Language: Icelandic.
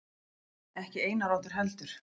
Ekki Einar Oddur heldur.